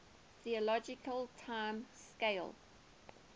geologic time scale